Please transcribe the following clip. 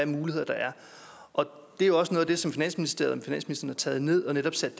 muligheder der er og det er også noget af det arbejde som finansministeren har taget ned og sat